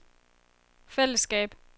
fællesskab